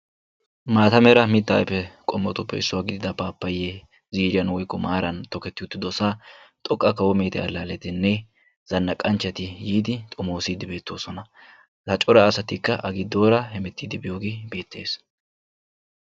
Maata mitaa ayfe qommotuppe issuwa gididda paappayee, ziiriyan woykko maaran tokketi uttidosaa xoqqa kawo meete alaaleinne zanaqanchchati yiidi xomoosiidi beetoosona. Ha cora asatikka a giddora hemetidi biyooge beetees.